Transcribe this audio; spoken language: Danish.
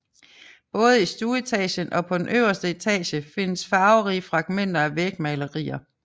Både i stueetagen og på den øverste etage findes farverige fragmenter af vægmalerier